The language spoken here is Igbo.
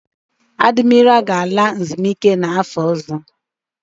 Adimira ga-ala ezumike nka n'afọ ọzọ.